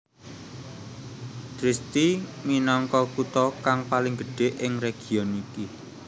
Trieste minangka kutha kang paling gedhé ing region iki